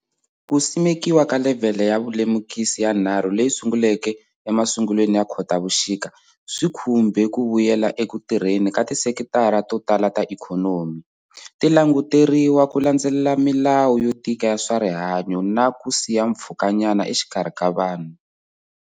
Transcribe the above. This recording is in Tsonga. Ku simekiwa ka levhele ya vulemukisi ya 3 leyi sunguleke emasungulweni ya Khotavuxika, swi khumbe ku vuyela eku tirheni ka tisekitara to tala ta ikhonomi, ti languteriwa ku landzelela milawu yo tika ya swa rihanyo na ya ku siya mpfhukanyana exikarhi vanhu.